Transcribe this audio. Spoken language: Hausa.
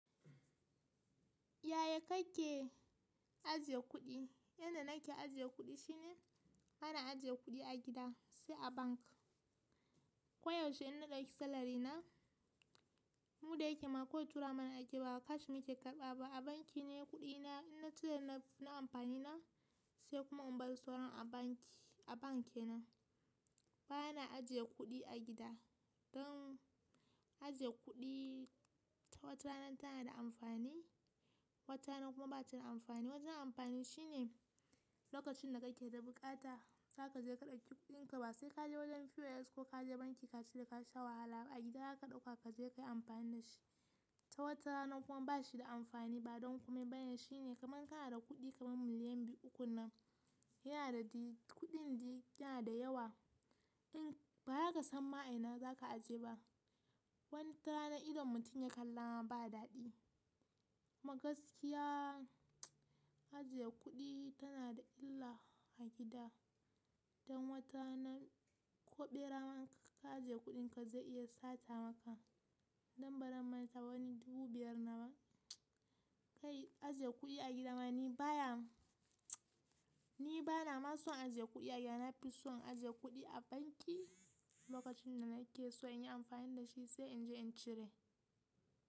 Yaya kake ajiye kuɗi? Yanda nake ajiye kuɗi shine bana ajiye kuɗi a gida sai a bank. Ko yaushe ina ɗauki salary na, mu da yake ma kawai tura mana akeyi ba cash muke karɓaba. A banki ne kuɗi na, ina cire na na amfani na sai kuma in bar sauran a banki, a bank kenan. Bana ajiye kuɗi a gida. Don ajiye kuɗi ta wata rana tana da amfani, wata rana kuma bata da amfani. Wajen amfani shine lokacin da kake da buƙata, zaka je ka ɗauki kuɗinka ba sai ka je wajen POS ko ka je banki ka cire ka sha wahala ba. A gida daka ɗauka kaje kayi amfani dashi. Ta wata rana kuma bashi da amfani ba don komai bane shine kaman ka na da kuɗi kaman miliyan biyu uku nan, yana da kuɗin dai yana da yawa. Shin ba zaka san ma 'a ina zaka ajiye ba. Wan ta rana idon mutum ya kalla ma ba daɗi. Kuma gaskiya ajiye kuɗi tana da illa a gida. Don wata rana ko ɓera man in ka ajiye kuɗinka zai iya sata maka. Don baran manta ba wani dubu biyar nawa. Kai ajiye kuɗi a gida ma ni baya, ni bana ma son ajiye kuɗi a gida. Na fi son ajiye kuɗi a banki lokacin da nake so in yi amfani da shi sai in je in cire.